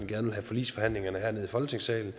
gerne have forligsforhandlingerne herned i folketingssalen